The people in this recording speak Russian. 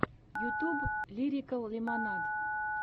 ютьюб лирикал лимонад